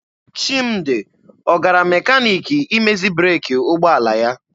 Chimdi ọ gara mekaniki imezi breeki ụgbọala ya?